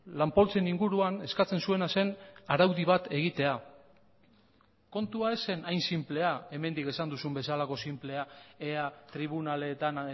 lan poltsen inguruan eskatzen zuena zen araudi bat egitea kontua ez zen hain sinplea hemendik esan duzun bezalako sinplea ea tribunaletan